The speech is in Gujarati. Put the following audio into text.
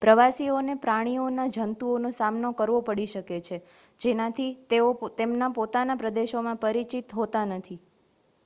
પ્રવાસીઓને પ્રાણીઓના જંતુઓનો સામનો કરવો પડી શકે છે જેનાથી તેઓ તેમના પોતાના પ્રદેશોમાં પરિચિત હોતા નથી